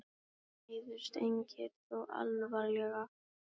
Nokkrir meiddust en engir þó alvarlega